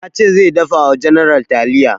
Ya ce zai dafa wa general taliya